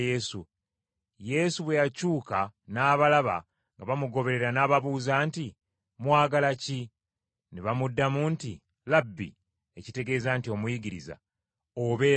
Yesu bwe yakyuka n’abalaba nga bamugoberera n’ababuuza nti, “Mwagala ki?” Ne bamuddamu nti, “Labbi” (ekitegeeza nti: “Omuyigiriza”), “obeera wa?”